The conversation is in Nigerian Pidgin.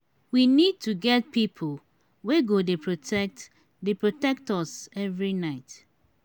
we need to get people wey go dey protect dey protect us every night